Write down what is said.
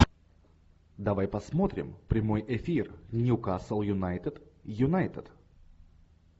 давай посмотрим прямой эфир ньюкасл юнайтед юнайтед